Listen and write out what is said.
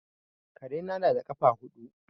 Karena na da ƙafa huɗu.